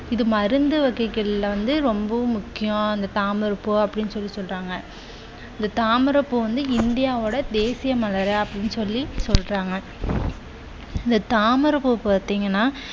இது மருந்து வகைகள் வந்து ரொம்பவும் முக்கியம் அந்த தாமரை பூ அப்படின்னு சொல்லி சொல்றாங்க. இந்த தாமரைப்பூ வந்து இந்தியாவோட தேசிய மலர் அப்படின்னு சொல்லி சொல்றாங்க. இந்த தாமரை பூ பாத்தீங்கண்ணா